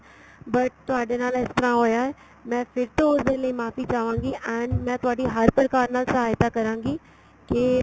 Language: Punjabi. but ਤੁਹਾਡੇ ਨਾਲ ਇਸ ਤਰਾਂ ਹੋਇਆ ਏ ਮੈਂ ਫ਼ਿਰ ਤੋਂ ਉਸ ਦੇ ਲਈ ਮਾਫ਼ੀ ਚਾਹਵਾਗੀ and ਮੈਂ ਤੁਹਾਡੀ ਹਰ ਪ੍ਰਕਾਰ ਨਾਲ ਸਹਾਇਤਾ ਕਰਾਗੀ ਕੀ